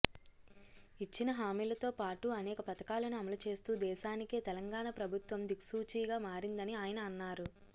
ఇచ్చిన హామీలతోపాటు అనేక పథకాలను అమలుచేస్తూ దేశానికే తెలంగాణ ప్రభుత్వం దిక్సూచిగా మారిందని ఆయన అన్నారు